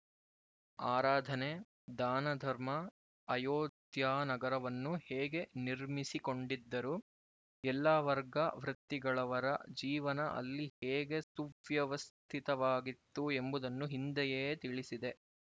ಆರಾಧನೆ ದಾನಧರ್ಮ ಅಯೋಧ್ಯಾನಗರವನ್ನು ಹೇಗೆ ನಿರ್ಮಿಸಿಕೊಂಡಿದ್ದರು ಎಲ್ಲ ವರ್ಗ ವೃತ್ತಿಗಳವರ ಜೀವನ ಅಲ್ಲಿ ಹೇಗೆ ಸುವ್ಯವಸ್ಥಿತವಾಗಿತ್ತು ಎಂಬುದನ್ನು ಹಿಂದೆಯೇ ತಿಳಿಸಿದೆ